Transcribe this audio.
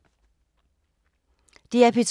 DR P2